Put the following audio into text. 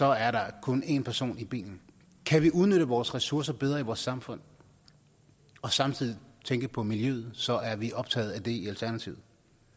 er der kun en person i bilen kan vi udnytte vores ressourcer bedre i vores samfund og samtidig tænke på miljøet så er vi optaget af det i alternativet